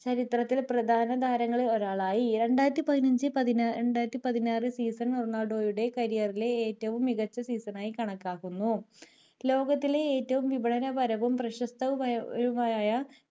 ചരിത്രത്തിൽ പ്രധാന താരങ്ങളിൽ ഒരാളായി രണ്ടായിരത്തി പതിനഞ്ചു രണ്ടായിരത്തി പതിനാറു season റൊണാൾഡോയുടെ career ലെ മികച്ച season ആയി കണക്കാക്കുന്നു ലോകത്തിലെ ഏറ്റവും വിപണപരവും പ്രശസ്ത പരവുമായ